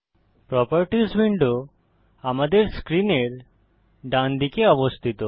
properties window আমাদের স্ক্রিনের ডানদিকে অবস্থিত